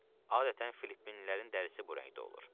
Adətən Filippinlilərin dərisi bu rəngdə olur.